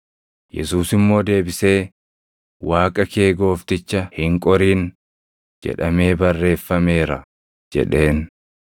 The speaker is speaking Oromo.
Yesuus immoo deebisee, “ ‘Waaqa kee Goofticha hin qorin’ + 4:7 \+xt KeD 6:16\+xt* jedhamee barreeffameera” jedheen.